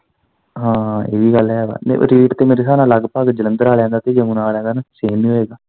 ਹਾਂ ਇਵੀਂ ਗੱਲ ਹੈ ਵਾ ਰੇਟ ਤੇ ਮੇਰੇ ਸਾਬ ਨਾਲ ਲਗਭਗ ਜਲੰਧਰ ਆਲਿਆ ਦਾ ਤੇ ਯਮੁਨਾ ਵਾਲਿਆ ਦਾ same ਹੀ ਹੋਏਗਾ।